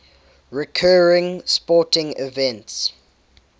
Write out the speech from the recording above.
recurring sporting events